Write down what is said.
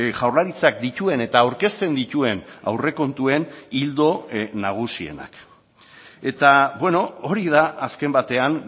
jaurlaritzak dituen eta aurkezten dituen aurrekontuen ildo nagusienak eta hori da azken batean